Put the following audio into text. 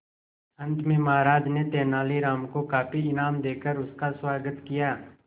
अंत में महाराज ने तेनालीराम को काफी इनाम देकर उसका स्वागत किया